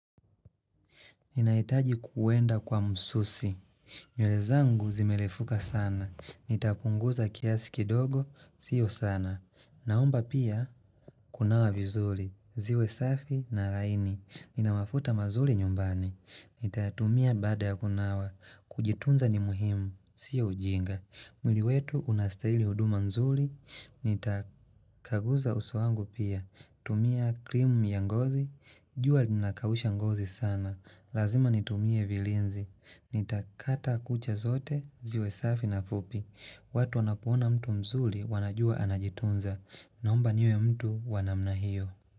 Ninahitaji kuenda kwa msusi. Nywele zangu zimerefuka sana. Nitapunguza kiasi kidogo, sio sana. Naomba pia, kunawa vizuri. Ziwe safi na laini. Nina mafuta mazuri nyumbani. Nitayatumia baada ya kunawa. Kujitunza ni muhimu, sio ujinga. Mwili wetu unastahili huduma nzuri. Nitakaguza uso wangu pia. Tumia krimu ya ngozi. Jua linakausha ngozi sana. Lazima nitumie vilinzi. Nitakata kucha zote ziwe safi na fupi. Watu wanapoona mtu mzuri wanajua anajitunza. Naomba niwe mtu wa namna hiyo.